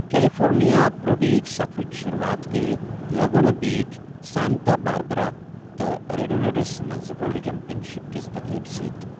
California pro beach سفرٕچ شروٗوات گٔیہٕ لگونا بیچ، سانتا باربرا، تہٕ ریڈونڈوَس منٛز ورلڈ چیمپئن شپ کِس تقریٖبہٕ سۭتۍ۔